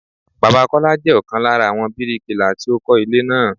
Bàbá Kọ́lá jẹ́ ọ̀kan lára àwọn bíríkilà tí ó kọ́ ilé náà.